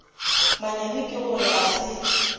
manyami ke gore a se